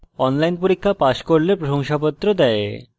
online পরীক্ষা pass করলে প্রশংসাপত্র দেওয়া হয়